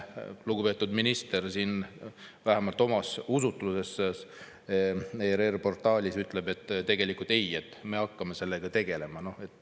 Lugupeetud minister vähemalt oma usutluses ERR-i portaalis ütleb, et me hakkame sellega tegelema.